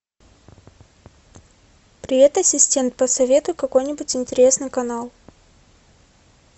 привет ассистент посоветуй какой нибудь интересный канал